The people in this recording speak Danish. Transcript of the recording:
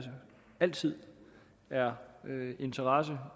altid er interesse